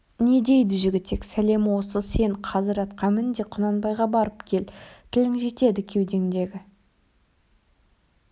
не дейді жігітек сәлемі осы сен қазір атқа мін де құнанбайға барып кел тілің жетеді кеудеңдегі